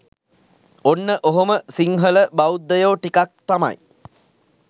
ඔන්න ඔහොම සිංහල බෞද්ධයෝ ටිකක් තමයි